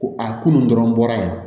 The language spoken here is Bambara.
Ko a kunun dɔrɔn bɔra yan